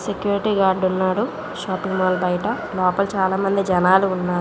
Security guard ఉన్నాడు shopping mall బయట చాల మంది జనాలు ఉన్నారు.